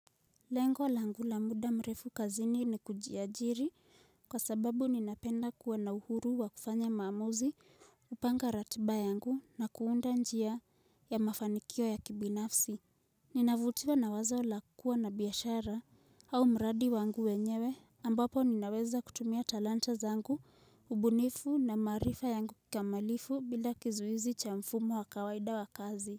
Lengo langu la muda mrefu kazini ni kujiajiri kwa sababu ninapenda kuwa na uhuru wa kufanya maamuzi kupanga ratiba yangu na kuunda njia ya mafanikio ya kibinafsi Ninavutiwa na wazo la kuwa na biashara au mradi wangu wenyewe ambapo ninaweza kutumia talanta zangu ubunifu na maarifa yangu kikamilifu bila kizuizi cha mfumo wa kawaida wa kazi.